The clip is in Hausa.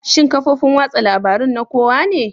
Shin kafofin watsa labarun na kowa ne?